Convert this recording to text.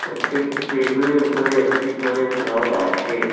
প্রত্যেকটি টেবিলের উপরে একটি করে জগ আছে।